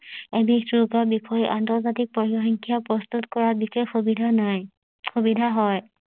এবিধ ৰোগৰ বিষয়ে আন্তৰ্জাতিক পযসংখ্যা প্ৰস্তুত কৰা বিশেষ সুবিধা নাই সুবিধা হয়